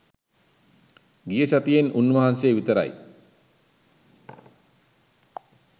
ගිය සතියෙත් උන් වහන්සේ විතරයි.